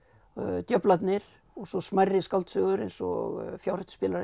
djöflarnir og svo smærri skáldsögur eins og